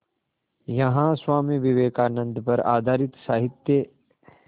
यहाँ स्वामी विवेकानंद पर आधारित साहित्य